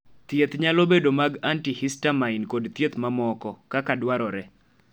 thieth nyalo bedo mag antihistamine kod thieth mamoko, kaka dwarore